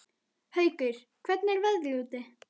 Haukur, hvernig er veðrið úti?